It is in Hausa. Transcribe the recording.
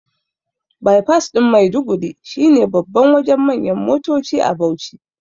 baifas ɗin Maiduguri shine babban Wajen manyan motoci a Bauchi